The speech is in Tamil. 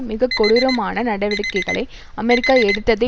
மிகக்கொடூரமான நடவடிக்கைகளை அமெரிக்கா எடுத்ததை